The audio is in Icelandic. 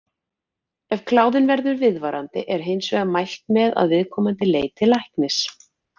Ef kláðinn verður viðvarandi er hins vegar mælt með að viðkomandi leiti læknis.